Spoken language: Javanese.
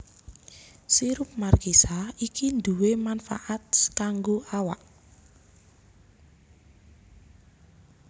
Sirup markisa iki duwè manfaat kanggo awak